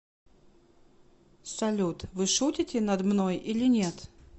салют вы шутите над мной или нет